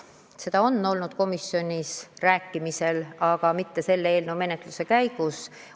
Sellest on komisjonis juttu olnud, aga mitte selle eelnõu menetluse käigus.